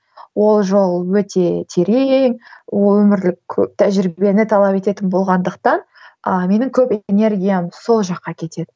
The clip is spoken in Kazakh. ол жол өте терең ол өмірлік көп тәжірибені талап ететін болғандықтан а менің көп энергиям сол жаққа кетеді